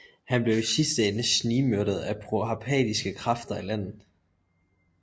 Han blev i sidste ende snigmyrdet af proparthiske krafter i landet